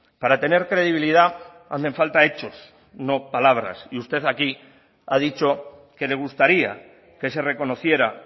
para tener credibilidad hacen falta hechos no palabras y usted aquí ha dicho que le gustaría que se reconociera